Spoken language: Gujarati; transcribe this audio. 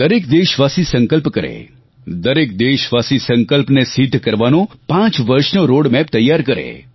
દરેક દેશવાસી સંકલ્પ કરે દરેક દેશવાસી સંકલ્પને સિદ્ધ કરવાનો પાંચ વર્ષનો રોડમેપ તૈયાર કરે